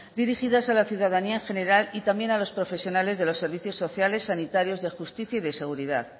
dirigidas a la ciudadanía en general y también a los profesionales de los servicios sociales sanitarios de justicia y de seguridad